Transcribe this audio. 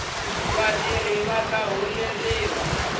vatirhi vata holeriwa